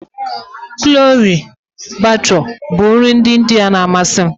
Chole bhature bụ nri ndị India na amasị m